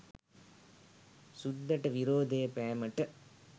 සුද්දට විරෝධය පෑමට